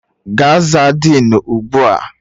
Gaa zaa Denu ugbu a!